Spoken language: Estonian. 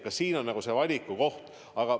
Ka siin on valiku koht.